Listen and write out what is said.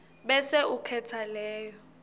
bese ukhetsa leyo